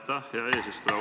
Aitäh, hea eesistuja!